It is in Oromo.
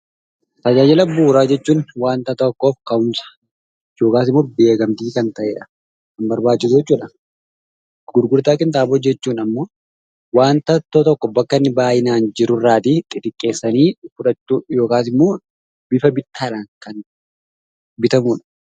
Tajaajila bu'uuraa jechuun waanta tokko yookaan immoo beekamtii kan ta'edha. Karbaachisan jechuudha. Gurgurtaa kintaaboo hojjechuun immoo waanta iddoo tokkoo bakka inni baayyinaan xixiqqeessanii keessattuu bifa gurgurtaan bitamudha.